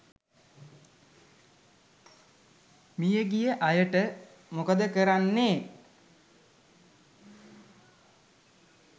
මියගිය අයට මොකද කරන්නේ?